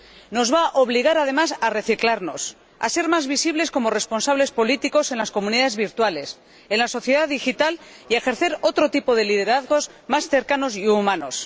Nos va a obligar además a reciclarnos, a ser más visibles como responsables políticos en las comunidades virtuales, en la sociedad digital, y a ejercer otro tipo de liderazgos más cercanos y humanos.